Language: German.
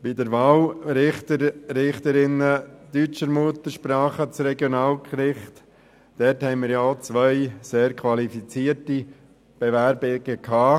Bei der Wahl Richter und Richterinnen deutscher Muttersprache für das Regionalgericht haben wir ebenfalls zwei sehr qualifizierte Bewerbungen gehabt.